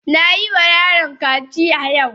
Ka yi wa yaron kaciya yau!